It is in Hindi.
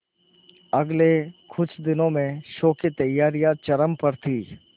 अगले कुछ दिनों में शो की तैयारियां चरम पर थी